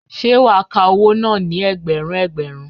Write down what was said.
Sé wàá ka owó náà ní ẹgbẹ̀rún ẹgbẹ̀rún